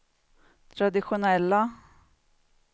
traditionella